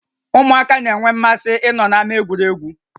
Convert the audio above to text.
Ụmụaka na-énwé mmasị ịnọ na-ámá egwuregwu